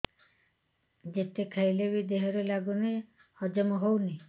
ଯେତେ ଖାଇଲେ ବି ଦେହରେ ଲାଗୁନି ହଜମ ହଉନି